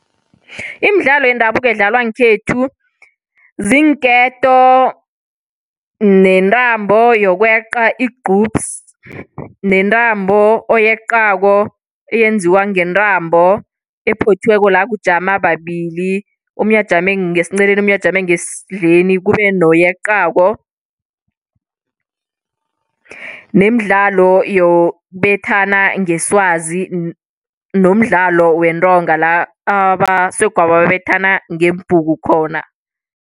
Imidlalo yendabuko edlalwa ngekhethu, ziinketo nentambo yokweqa igqubsi. Nentambo oyeqako, eyenziwa ngentambo ephothiweko, la kujama babili omunye ajame ngesinceleni, omunye ajame ngesindleni kube noweqako. Nemidlalo yokubethana ngeswazi, nomdlalo wentonga la abasegwabo babethana ngeembhuku khona.